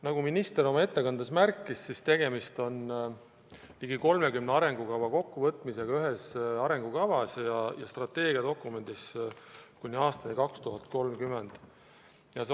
Nagu minister oma ettekandes märkis, on tegemist ligi 30 arengukava kokkuvõtmisega ühes arengukavas ja strateegiadokumendis kuni aastani 2030.